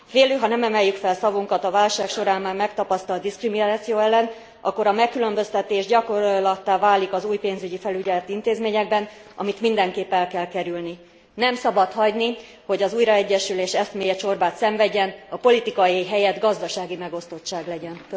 Félő, ha nem emeljük fel szavunkat a válság során már megtapasztalt diszkrimináció ellen, akkor a megkülönböztetés gyakorlattá válik az új pénzügyi felügyeleti intézményekben, amit mindenképp el kell kerülni. Nem szabad hagyni, hogy az újraegyesülés eszméje csorbát szenvedjen, a politikai helyett gazdasági megosztottság legyen.